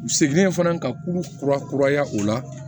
U seginnen fana ka kuru kura kuraya o la